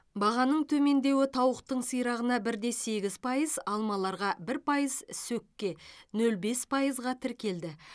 бағаның төмендеуі тауықтың сирағына бір де сегіз пайыз алмаларға бір пайыз сөкке нөл бес пайызға тіркелді